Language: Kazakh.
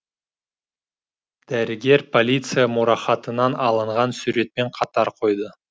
дәрігер полиция мұрахатынан алынған суретпен қатар қойды